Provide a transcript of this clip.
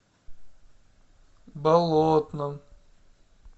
болотном